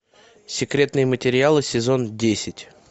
секретные материалы сезон десять